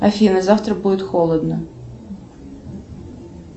афина завтра будет холодно